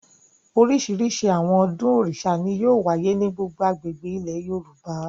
Oríṣiríṣi àwọn ọdún Òrìṣà ni yóò wáyé ní gbogbo agbègbè ilẹ̀ Yorùbá.